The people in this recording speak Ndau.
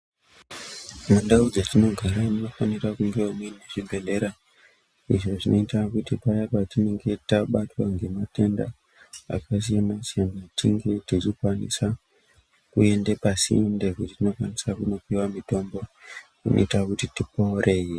Mundau mwetinogara munofanira kunge muine zvibhedhlera, izvo zvinoita kuti paya patinonge tabatwa ngematenda akasiyana siyana tinge techikwanisa kuende pasinde kwetinokwanisa kunopuwe mitombo inoita kuti tiporee.